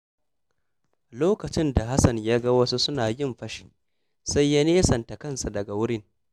Lokacin da Hassan ya ga wasu suna yin fashi, sai ya nesanta kansa daga wurin.